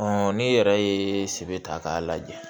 n'i yɛrɛ ye sɛbɛ ta k'a lajɛ